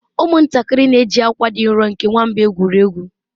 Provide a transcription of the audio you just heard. ụmụntakịrị na-eji akwa dị nro nke nwamba egwuri egwu